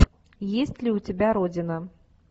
есть ли у тебя родина